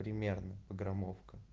примерно граммовка